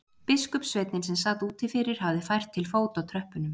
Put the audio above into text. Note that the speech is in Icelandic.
Biskupssveinninn sem sat úti fyrir hafði fært til fót á tröppunum.